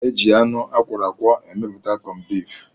E ji anụ akwọrọ akwọ emepụta kọmbif.